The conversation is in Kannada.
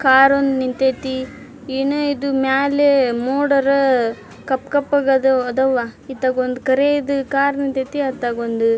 ಕಾರ ಒಂದು ನಿಂತೈತಿ ಏನೆ ಇದು ಮ್ಯಾಲೆ ಮೊಡರ ಕಪ್ಪಕಪ್ಪಗದು ಅದವ್ವ ಇತ್ತಗೊಂದು ಕರಿದು ಕಾರ ನಿಂತೈತಿ ಅತ್ತಗೊಂದು --